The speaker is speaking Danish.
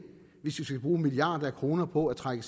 hvis vi skal bruge milliarder af kroner på at trække